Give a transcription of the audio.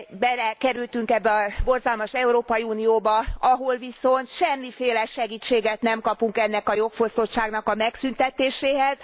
Belekerültünk ebbe a borzalmas Európai Unióba, ahol viszont semmiféle segítséget nem kapunk ennek a jogfosztottságnak a megszüntetéséhez.